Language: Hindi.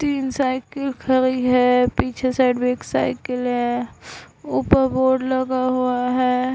तीन साइकल खड़ी है पीछे साइड भी एक साइकल है ऊपर बोर्ड लगा हुआ है।